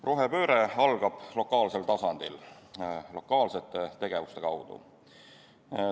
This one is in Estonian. Rohepööre algab lokaalsel tasandil lokaalsete tegevuste kaudu.